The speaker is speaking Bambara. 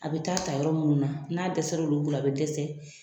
A be taa ta yɔrɔ munnu na , n'a dɛsɛ l' olu la, a be dɛsɛ